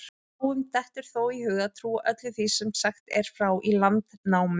Fáum dettur þó í hug að trúa öllu því sem sagt er frá í Landnámu.